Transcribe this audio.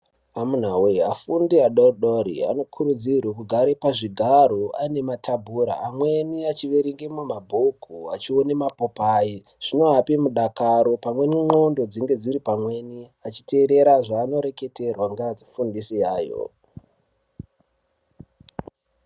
Amunaa wee afundi adodori anokurudzirwe kugare pazvigaro ane matabhura amweni achierengemwo mabhuku achione mapopai zvinoape mudakaro pamweni ndxondo dzinenge dziri pamweni achiteerera zvaanoreketerwa ngeadzifundisi yayo.